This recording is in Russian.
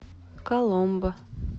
коломбо